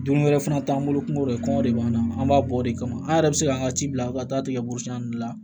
Dumuni wɛrɛ fana t'an bolo kungo de kɔngɔ de b'an na an b'a bɔ o de kama an yɛrɛ bɛ se k'an ka ci bila ka taa tigɛ la